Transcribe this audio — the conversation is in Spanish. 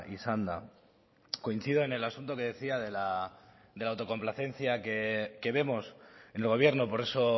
izanda coincido en el asunto que decía de la autocomplacencia que vemos en el gobierno por eso